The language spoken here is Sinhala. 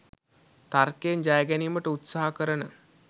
තර්කයෙන් ජයගැනීමට උත්සහ කරන